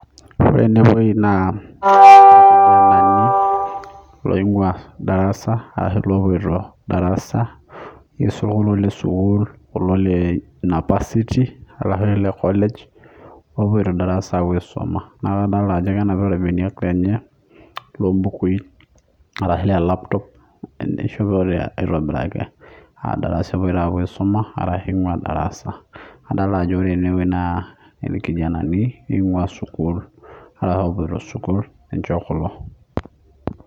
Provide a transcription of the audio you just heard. Ore ene wuei naa irkijanani loing'ua darasa ashu loopoito darasa, niisul kulo le kulo le sukuul kulo napasiti arashu ile college oopoito darasa aapuo aisoma. Naake adolta ajo kenapita irbeniak tene loo mbukui ashu ole laptop ishopote aitobiraki aa darasa epoito aisoma arasgu ing'ua darasa. Adol ajo ore ene wuei naa irkijanani ing'ua sukuul arashu oopoito sukuul ninche kulo.